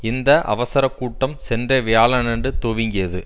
இந்த அவசர கூட்டம் சென்ற வியாழனன்று துவங்கியது